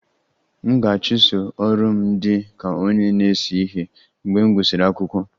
M ga-achụso ọrụ m dị ka onye na-ese ihe mgbe m gụsịrị akwụkwọ